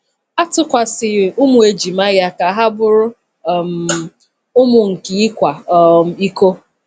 A tụkwasịghị ụmụ ejima ya ka ha bụrụ um ụmụ nke ịkwa um iko.